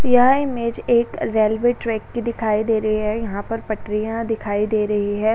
यह इमेज एक railway track की दिखाई दे रही हैं। यहां पर पटरियां दिखाई दे रही हैं।